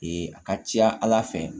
Ee a ka ca ala fɛ